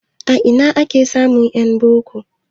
A ina ake samun en boko?